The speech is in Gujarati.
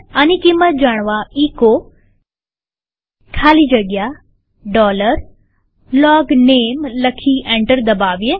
આની કિંમત જાણવા એચો ખાલી જગ્યા LOGNAME લખી એન્ટર દબાવીએ